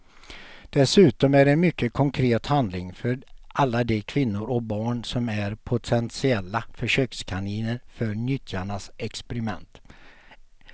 Dessutom är det en mycket konkret handling för alla de kvinnor och barn som är potentiella försökskaniner för nyttjarnas experiment.